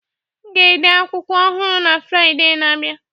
M ga-ede akwụkwọ akụkọ ọhụrụ na Fraịde na-abịa